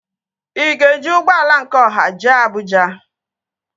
Ị ga-eji ụgbọala nke ọha jee Abụja?